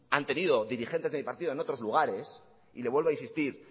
han tenido dirigentes de mi partido en otros lugares y le vuelvo a insistir